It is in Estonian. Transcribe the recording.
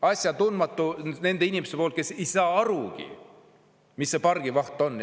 Asjatundmatu nende inimeste poolt, kes ei saa arugi, mis see pargivaht on.